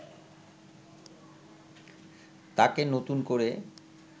তাকে নতুন করে